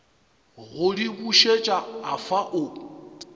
go di bušet afa o